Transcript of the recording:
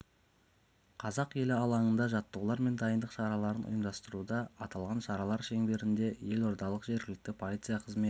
қазақ елі алаңында жаттығулар мен дайындық шараларын ұйымдастыруда аталған шаралар шеңберінде елордалық жергілікті полиция қызметі